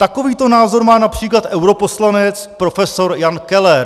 Takovýto názor má například europoslanec prof. Jan Keller.